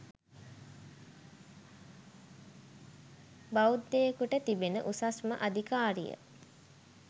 බෞද්ධයෙකුට තිබෙන උසස්ම අධිකාරිය